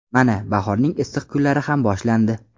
Mana, bahorning issiq kunlari ham boshlandi.